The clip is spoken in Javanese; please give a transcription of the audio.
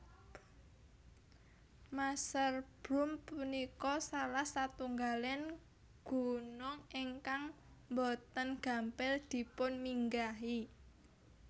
Masherbrum punika salah satunggaling gunung ingkang boten gampil dipunminggahi